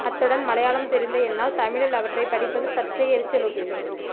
அத்துடன் மலையாளம் தெரிந்த என்னால் தமிழில் அவற்றை படிப்பது சற்றே எரிச்சலூட்டியது